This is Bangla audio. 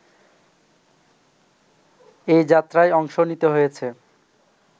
এই যাত্রায় অংশ নিতে হয়েছে